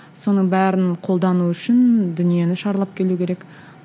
соның бәрін қолдану үшін дүниені шарлап келу керек